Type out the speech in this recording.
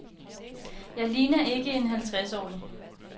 Jeg ligner ikke en halvtredsårig.